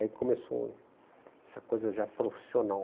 Aí começou essa coisa já profissional.